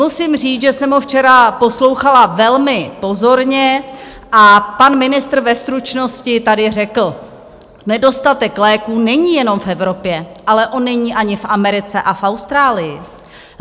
Musím říct, že jsem ho včera poslouchala velmi pozorně a pan ministr ve stručnosti tady řekl: Nedostatek léků není jenom v Evropě, ale on není ani v Americe a v Austrálii.